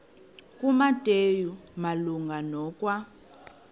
kumateyu malunga nokwa